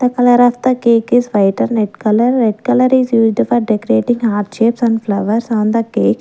the colour of the cake is white and red colour red colour is used for decorating heart shapes and flowers on the cake.